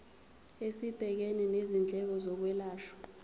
esibhekene nezindleko zokwelashwa